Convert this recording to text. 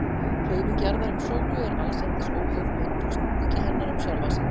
Hreyfing jarðar um sólu er allsendis óháð möndulsnúningi hennar um sjálfa sig.